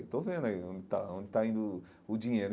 Estou vendo aí onde está onde está indo o o dinheiro.